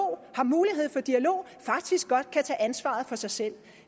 har mulighed for dialog faktisk godt kan tage ansvaret for sig selv